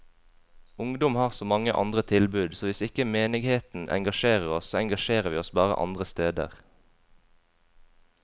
Ungdom har så mange andre tilbud, så hvis ikke menigheten engasjerer oss, så engasjerer vi oss bare andre steder.